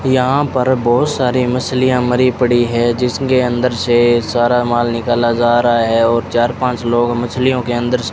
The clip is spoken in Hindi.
यहां पर बहोत सारी मछलियां मरी पड़ी है जिसके अंदर से सारा माल निकाला जा रहा है और चार पांच लोग मछलियों के अंदर से --